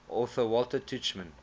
author walter tuchman